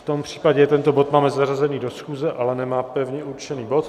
V tom případě tento bod máme zařazený do schůze, ale nemá pevně určený bod.